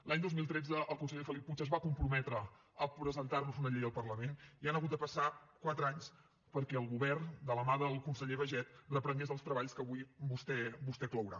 l’any dos mil tretze el conseller felip puig es va comprometre a presentar nos una llei al parlament i han hagut de passar quatre anys perquè el govern de la mà del conseller baiget reprengués els treballs que avui vostè clourà